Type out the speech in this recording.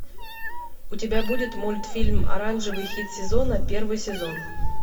и у тебя будет мультфильм оранжевый хит сезона первый сезон